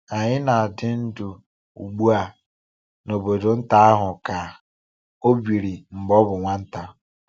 Anyị na-adị ndụ ugbu a n’obodo nta ahụ ka ọ biiri mgbe ọ bụ nwata.